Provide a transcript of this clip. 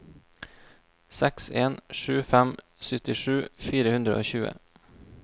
seks en sju fem syttisju fire hundre og tjue